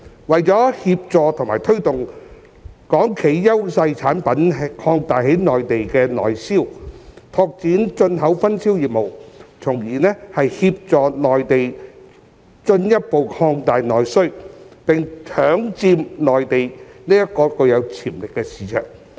為了協助和推動港企優勢產品擴大在內地的內銷、拓展進口分銷業務，從而協助內地進一步擴大內需，並搶佔內地這個具有潛力的市場。